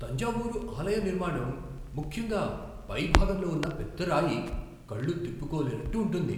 తంజావూరు ఆలయ నిర్మాణం, ముఖ్యంగా పై భాగంలో ఉన్న పెద్ద రాయి, కళ్ళు తిప్పుకోలేనట్టు ఉంటుంది.